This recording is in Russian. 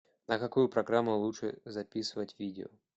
на какую программу лучше записывать видео